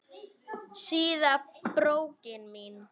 Síða brókin mín!